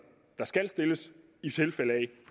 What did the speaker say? der skal stilles i tilfælde af